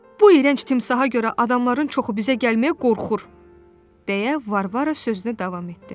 "Bu iyrənc timsaha görə adamların çoxu bizə gəlməyə qorxur," deyə Varvara sözünə davam etdi.